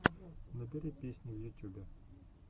набери песни в ютюбе